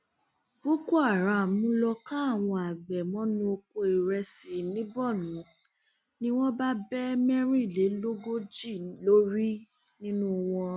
boko um haram lóò ká àwọn àgbẹ mọnú oko ìrẹsì um ní borno ni wọn bá bẹ mẹrìnlélógójì lórí nínú wọn